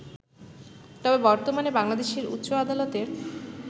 তবে বর্তমানে বাংলাদেশের উচ্চ আদালতের